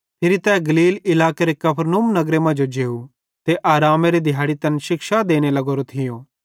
फिरी तै गलील इलाकेरे कफरनहूम नगरे मांजो जेव ते आरामेरे दिहाड़े तैन शिक्षा देने लग्गोरो थियो